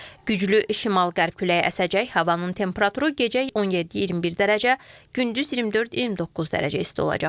Güclü şimal-qərb küləyi əsəcək, havanın temperaturu gecə 17-21 dərəcə, gündüz 24-29 dərəcə isti olacaq.